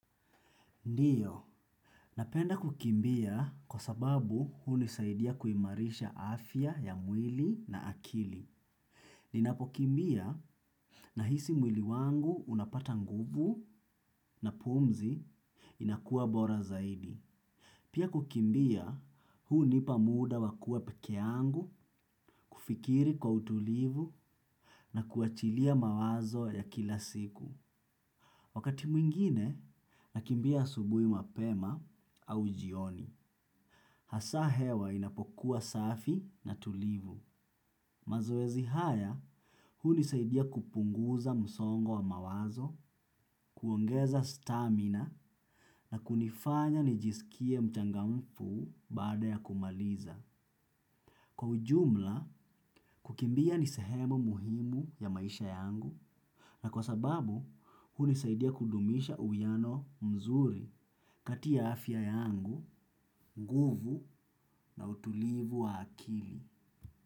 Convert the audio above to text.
Ndiyo, napenda kukimbia kwa sababu hunisaidia kuimarisha afya ya mwili na akili. Ninapokimbia nahisi mwili wangu unapata nguvu na pumzi inakuwa bora zaidi. Pia kukimbia hunipa muda wa kuwa peke yangu kufikiri kwa utulivu na kuachilia mawazo ya kila siku. Wakati mwingine, nakimbia asubuhi mapema au jioni. Hasa hewa inapokuwa safi na tulivu. Mazoezi haya, hunisaidia kupunguza msongo wa mawazo, kuongeza stamina na kunifanya nijisikie mchangamfu baada ya kumaliza. Kwa ujumla, kukimbia ni sehemu muhimu ya maisha yangu na kwa sababu, hunisaidia kudumisha uwiano mzuri kati ya afya yangu, nguvu na utulivu wa akili.